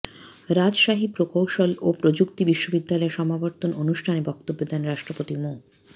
রাজশাহী প্রকৌশল ও প্রযুক্তি বিশ্ববিদ্যালয়ের সমাবর্তন অনুষ্ঠানে বক্তব্য দেন রাষ্ট্রপতি মো